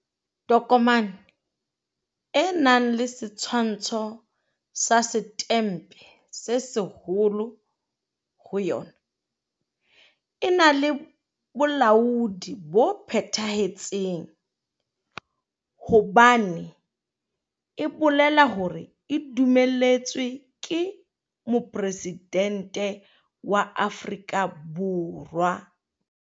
Tokomane e nang le setshwantsho sa Setempe se Seholo ho yona e na le bolaodi bo phethahetseng hobane e bolela hore e dumelletswe ke Mopresidente wa Afrika Borwa.